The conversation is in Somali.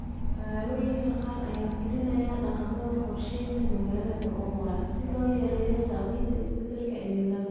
Magaalooyinka qaar ayaa fulinaya dhaqamada qorshaynta magaalada oo waara si loo yareeyo saamaynta isbedelka cimilada.